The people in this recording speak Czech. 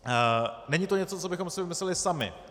Není to něco, co bychom si vymysleli sami.